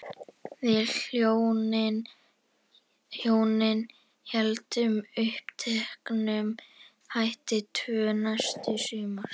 Við hjónin héldum uppteknum hætti tvö næstu sumur.